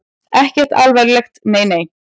Ekkert alvarlegt, nei nei.